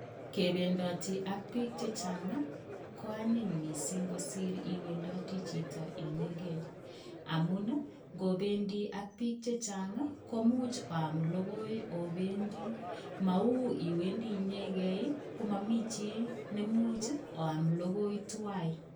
Kebendoti ak biik che chang ko anyiny mising kosir iwendoti chito inyege amun ngobendi ak biik chechang komuch oam logoi obendi. Mau iwendi ichegei komami chi nemuch oam logoi tuwai.